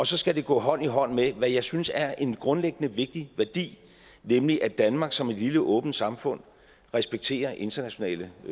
så skal det gå hånd i hånd med hvad jeg synes er en grundlæggende vigtig værdi nemlig at danmark som et lille åbent samfund respekterer internationale